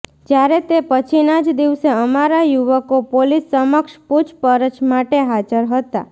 જ્યારે તે પછીના જ દિવસે અમારા યુવકો પોલીસ સમક્ષ પૂછપરછ માટે હાજર હતા